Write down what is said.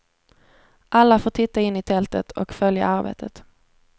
Alla får titta in i tältet och följa arbetet.